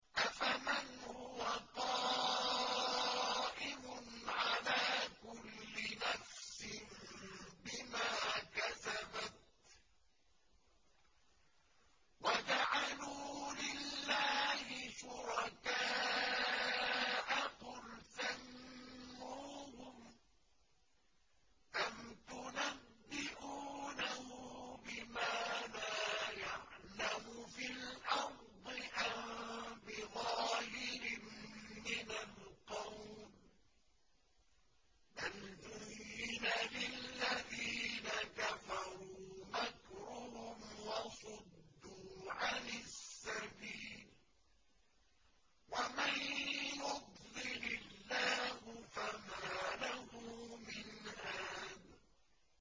أَفَمَنْ هُوَ قَائِمٌ عَلَىٰ كُلِّ نَفْسٍ بِمَا كَسَبَتْ ۗ وَجَعَلُوا لِلَّهِ شُرَكَاءَ قُلْ سَمُّوهُمْ ۚ أَمْ تُنَبِّئُونَهُ بِمَا لَا يَعْلَمُ فِي الْأَرْضِ أَم بِظَاهِرٍ مِّنَ الْقَوْلِ ۗ بَلْ زُيِّنَ لِلَّذِينَ كَفَرُوا مَكْرُهُمْ وَصُدُّوا عَنِ السَّبِيلِ ۗ وَمَن يُضْلِلِ اللَّهُ فَمَا لَهُ مِنْ هَادٍ